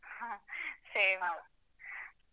ಹಾ same